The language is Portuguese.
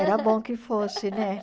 Era bom que fosse, né?